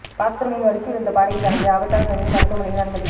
பாத்ரூமில் வழுக்கி விழுந்த பாடகி ஜானகி ஆபத்தான நிலையில் மருத்துவமனையில் அனுமதி